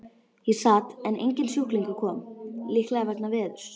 Ég sat en enginn sjúklingur kom, líklega vegna veðurs.